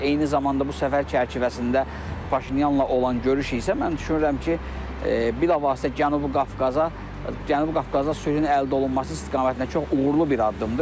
Eyni zamanda bu səfər çərçivəsində Paşinyanla olan görüş isə mən düşünürəm ki, bilavasitə Cənubi Qafqaza, Cənubi Qafqazda sülhün əldə olunması istiqamətində çox uğurlu bir addımdır.